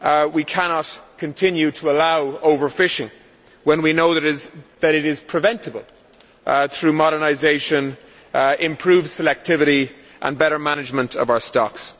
We cannot continue to allow over fishing when we know that it is preventable through modernisation, improved selectivity and better management of our stocks.